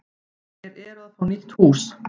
Þeir eru að fá nýtt hús.